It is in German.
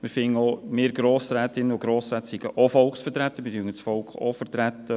Wir finden auch, wir Grossrätinnen und Grossräte seien auch Volksvertretungen und würden das Volk vertreten.